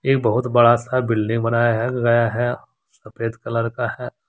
बहुत बड़ा सा बिल्डिंग बनाया है गया है सफेद कलर का है।